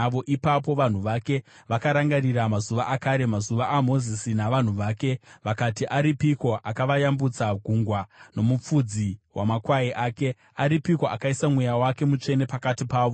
Ipapo vanhu vake vakarangarira mazuva akare, mazuva aMozisi navanhu vake, vakati, aripiko akavayambutsa gungwa, nomufudzi wamakwai ake? Aripiko akaisa Mweya wake Mutsvene pakati pavo,